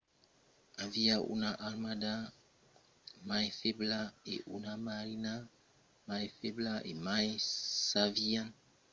aviá una armada mai febla e una marina mai febla e mai s'avián tot just construch quatre novèls vaissèls abans lo començament de la guèrra